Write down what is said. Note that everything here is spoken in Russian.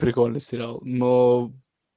прикольный сериал но